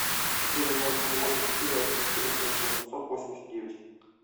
четыре ноль три восемь четыре один четыре шесть восемьсот восемьдесят девять